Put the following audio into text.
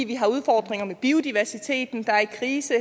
vi har udfordringen med biodiversiteten der er i krise